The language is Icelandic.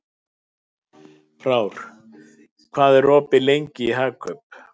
Frár, hvað er opið lengi í Hagkaup?